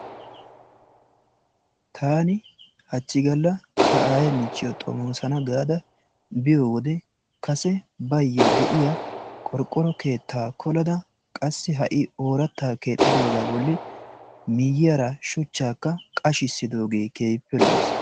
Tan hachchi galla ta aaye michchiyo xomoosana gaada biyo wode kase baayyo de'iya qorqoro keettaa kolada qassi ha"i ooratta keexxidoogaa bolli miyyiyara shuchchakka qashissidoogee keehippe lo''ees.